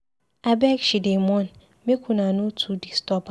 Abeg she dey mourn, make una no too disturb am.